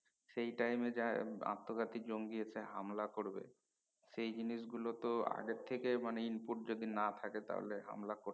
সেই টাইমে যেই আত্মঘাতী জঙ্গি এসে হামলা করবে সেই জিনিস গুলো তো আগে থেকে মানে input যদি না থাকে তাহলে হামলা করত